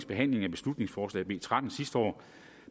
behandling af beslutningsforslag nummer b tretten sidste år